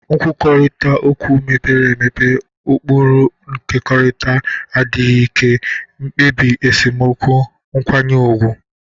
Nkwurịta okwu mepere emepe, ụkpụrụ nkekọrịta, adịghị ike, mkpebi esemokwu nkwanye ùgwù.